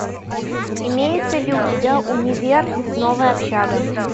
имеется ли у тебя универ новая общага